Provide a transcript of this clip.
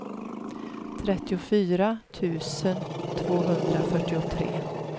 trettiofyra tusen tvåhundrafyrtiotre